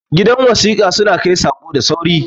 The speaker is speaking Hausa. gidan wasika suna Kai Sako da sauri